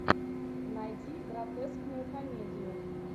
найди гротескную комедию